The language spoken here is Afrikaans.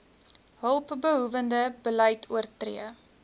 hulpbehoewende beleid oortree